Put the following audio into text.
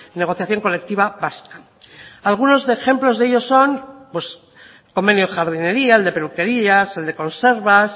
negociación colectiva vasca algunos ejemplos de ello son los convenios de jardinería el de peluquerías el de conservas